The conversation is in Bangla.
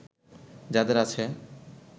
যাদের আছে